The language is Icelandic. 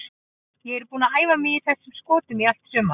Ég er búinn að æfa mig í þessum skotum í allt sumar.